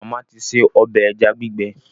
Màmá ti ṣe ọbẹ̀ ẹja gbígbẹ